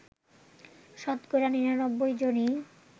শতকরা ৯৯ জনই